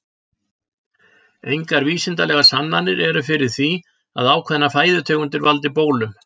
Engar vísindalegar sannanir eru fyrir því að ákveðnar fæðutegundir valdi bólum.